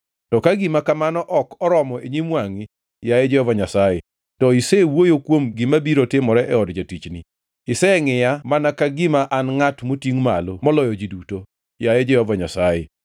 To ka gima kamano ok oromo e nyim wangʼi, yaye Jehova Nyasaye, to isewuoyo kuom gima biro timore e od jatichni. Isengʼiya mana ka gima an ngʼat motingʼ malo moloyo ji duto, yaye Jehova Nyasaye.